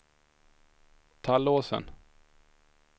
Tallåsen